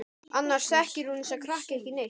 Annars þekkir hún þessa krakka ekki neitt.